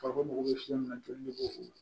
Fako mago bɛ fiɲɛ min na joli b'o o